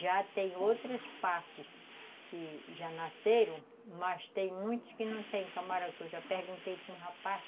Já tem outras partes que já nasceram, mas tem muitas que não tem camarão, que eu já perguntei para um rapaz.